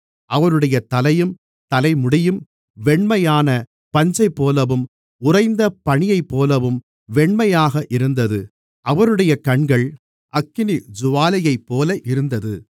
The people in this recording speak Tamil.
அவருடைய தலையும் தலைமுடியும் வெண்மையான பஞ்சைப்போலவும் உறைந்த பனியைப்போலவும் வெண்மையாக இருந்தது அவருடைய கண்கள் அக்கினிஜூவாலையைப்போல இருந்தது